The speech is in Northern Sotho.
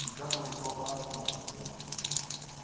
di ka no tswakanywa go